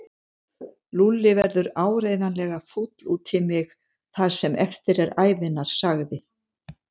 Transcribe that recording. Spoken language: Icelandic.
Lúlli verður áreiðanlega fúll út í mig það sem eftir er ævinnar sagði